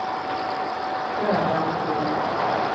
Gerda Andrén